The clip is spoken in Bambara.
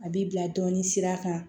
A bi bila dɔɔnin sira kan